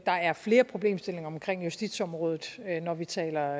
der er flere problemstillinger omkring justitsområdet når vi taler